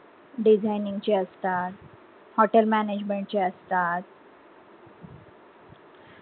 designing ची असतात hotel management ची असतात